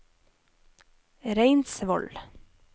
Reinsvoll